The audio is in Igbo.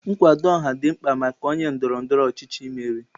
Nkwado ọha dị mkpa maka onye ndọrọ ndọrọ ọchịchị imeri.